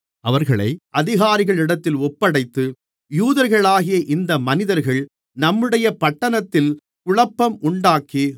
அவர்களை அதிகாரிகளிடத்தில் ஒப்படைத்து யூதர்களாகிய இந்த மனிதர்கள் நம்முடைய பட்டணத்தில் குழப்பம் உண்டாக்கி